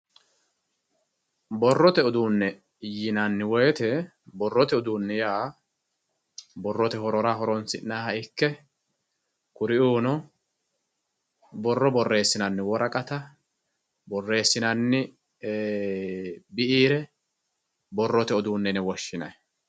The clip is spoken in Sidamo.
borrote uduunne yinanni woyiite borrote uduunni yaa borrote horora horoonsi'nayiiha ikke kuriuuno borro borreessinanni woraqata borreessinanni biire borrote uduunne yine woshshinanni.